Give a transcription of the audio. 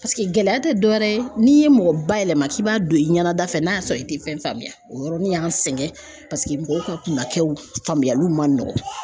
Paseke gɛlɛya tɛ dɔ wɛrɛ ye n'i ye mɔgɔ bayɛlɛma k'i b'a don i ɲɛna da fɛ n'a y'a sɔrɔ i tɛ fɛn faamuya o yɔrɔnin y'an sɛgɛn paseke mɔgɔw ka kumakɛw faamuyaliw man nɔgɔn